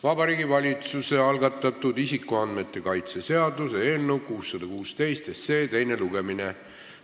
Vabariigi Valitsuse algatatud isikuandmete kaitse seaduse eelnõu 616 teine lugemine.